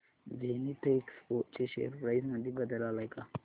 Zenith Expo share price मध्ये बदल आलाय का